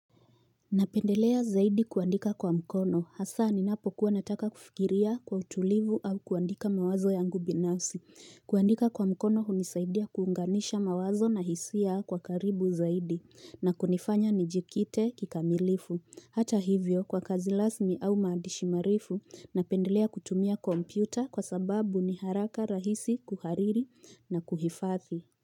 Napendelea zaidi kuandika kwa mkono hasa ni napokuwa nataka kufikiria kwa utulivu au kuandika mawazo yangu binasi. Kuandika kwa mkono hunisaidia kuunganisha mawazo na hisia kwa karibu zaidi na kunifanya nijikite kikamilifu. Hata hivyo kwa kazi rasmi au maandishi marefu napendelea kutumia kompyuta kwa sababu ni haraka rahisi kuhariri na kuhifadhi.